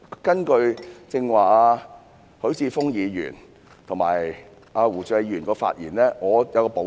根據剛才許智峯議員和胡志偉議員的發言，我只作少許補充。